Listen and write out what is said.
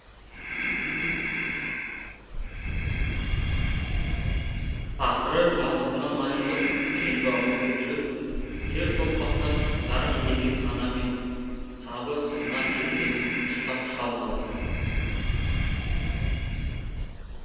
ақыры жалғызынан айырылып желбауы үзіліп жер тоқпақтап зар илеген ана мен сабы сынған кетпенін ұстап шал қалды